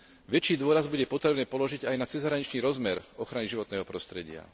Väčší dôraz bude potrebné položiť aj na cezhraničný rozmer v ochrane životného prostredia.